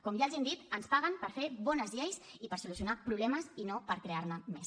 com ja els hem dit ens paguen per fer bones lleis i per solucionar problemes i no per crear ne més